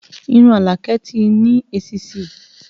Irun Alake ti ní èsísí